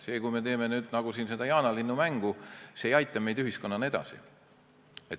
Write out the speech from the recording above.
See, kui me teeme nagu jaanalinnumängu, ei aita meid ühiskonnana edasi.